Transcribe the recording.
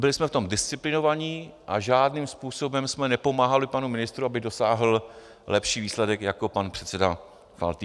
Byli jsme v tom disciplinovaní a žádným způsobem jsme nepomáhali panu ministru, aby dosáhl lepší výsledek, jako pan předseda Faltýnek.